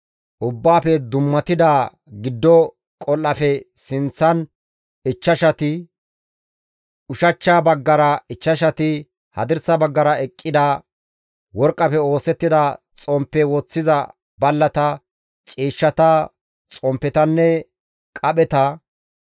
ubbaafe dummatida giddo qol7aafe sinththan ichchashati, ushachcha baggara ichchashati, hadirsa baggara eqqida worqqafe oosettida xomppe woththiza ballata, ciishshata, xomppetanne qapheta,